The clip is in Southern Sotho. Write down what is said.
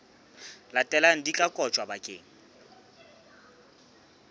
latelang di tla kotjwa bakeng